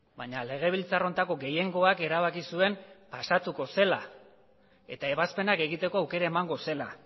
baina legebiltzar honetako gehiengoak erabaki zuen pasatuko zela eta ebazpenak egiteko aukera emango zela